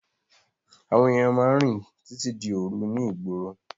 Àwọn ènìyàn máa ń rìn títí di òru ní ìgboro.